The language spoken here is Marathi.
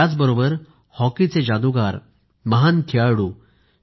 त्याचबरोबर हॉकीचे जादूगार महान खेळाडू श्री